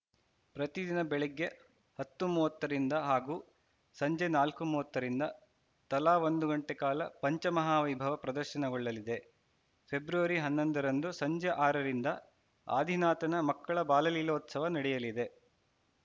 ಪ್ರತಿದಿನ ಬೆಳಗ್ಗೆ ಹತ್ತು ಮೂವತ್ತರಿಂದ ಹಾಗೂ ಸಂಜೆ ನಾಲ್ಕು ಮೂವತ್ತರಿಂದ ತಲಾ ಒಂದು ಗಂಟೆ ಕಾಲ ಪಂಚಮಹಾ ವೈಭವ ಪ್ರದರ್ಶನಗೊಳ್ಳಲಿದೆ ಫೆಬ್ರವರಿ ಹನ್ನೊಂದರಂದು ಸಂಜೆ ಆರರಿಂದ ಆದಿನಾಥನ ಮಕ್ಕಳ ಬಾಲಲೀಲೋತ್ಸವ ನಡೆಯಲಿದೆ